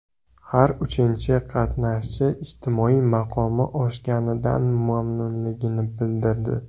Har uchinchi qatnashchi ijtimoiy maqomi oshganidan mamnunligini bildirdi.